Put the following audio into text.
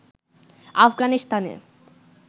আফগানিস্তানে